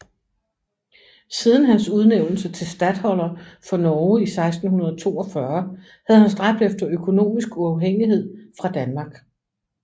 Siden hans udnævnelse til statholder for Norge i 1642 havde han stræbt efter økonomisk uafhængighed fra Danmark